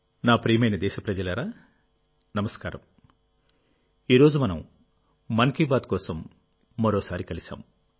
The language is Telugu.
నా ప్రియమైన దేశప్రజలారా నమస్కారం ఈ రోజు మనం మన్ కీ బాత్ కోసం మరోసారి కలిశాం